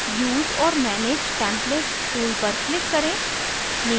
use or manage templates tool पर click करें